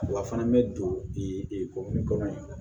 Wa a fana bɛ don i ko nin kɔnɔ